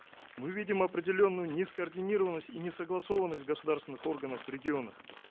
мы видим определенную нескоординированность и несогласованность государственных органов в регионах